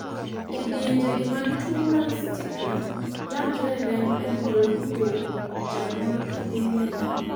kidienje gi mag tuo mar stickler landre e remb anyuola kowuok kuom janyuol kadhi ne nyathi